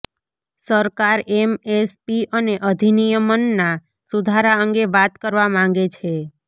સરકાર એમએસપી અને અધિનિયમના સુધારા અંગે વાત કરવા માંગે છે